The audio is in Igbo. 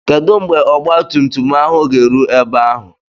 Kedu mgbe ọgba tum tum ahụ ga-eru ebe ahụ?